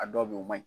A dɔw be yen o ma ɲi